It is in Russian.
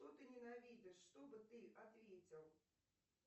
что ты ненавидишь что бы ты ответил